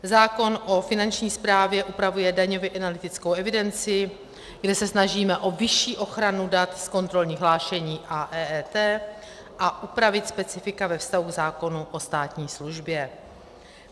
Zákon o Finanční správě upravuje daňově analytickou evidenci, kde se snažíme o vyšší ochranu dat z kontrolních hlášení a EET a upravit specifika ve vztahu k zákonu o státní službě.